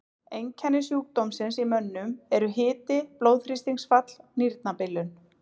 Einkenni sjúkdómsins í mönnum eru hiti, blóðþrýstingsfall, nýrnabilun.